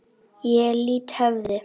Ég lýt höfði.